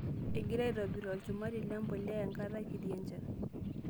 Iingira aitobir olchumati lempulia enkata kitii enchan.